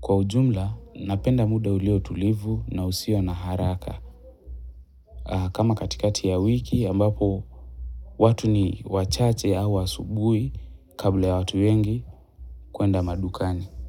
Kwa ujumla napenda muda ulio utulivu na usio na haraka. Kama katikati ya wiki ambapo watu ni wachache au asubuhi kabla ya watu wengi kwenda madukani.